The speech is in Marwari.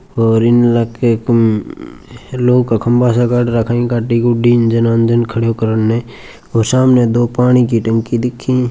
और इन लखे कुम लोग खम्बा से गड रखई गड्डी गुड्डी इंजन विन्जन करन ने और शामने दो पानी की टंकी दिखी।